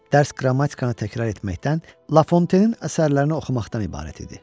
Dərs qrammatikanı təkrar etməkdən, Lafontenin əsərlərini oxumaqdan ibarət idi.